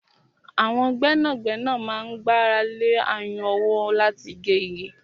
Àwọn gbẹ́nàgbẹ́nà máa ń gbára lé ayùn ọwọ́ láti gé igi.